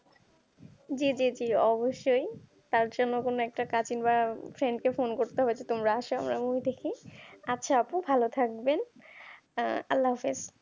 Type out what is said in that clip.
তার জন্যে কোন একটা cousin বা friend কে ফোন করতে হবে যে তোমরা আস আমরা movie দেখি আচ্ছা আপু ভাল থাকবেন আল্লা আল্লাহ আফিজ।